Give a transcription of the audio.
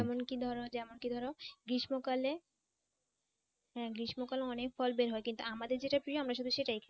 যেমন কি ধরো যেমন কি ধরো গ্রীষ্মকালে হ্যাঁ গ্রীষ্মকালে অনেক ফল বের হয় কিন্তু আমাদের যেটা প্রিয় আমরা শুধু সেটাই খাই।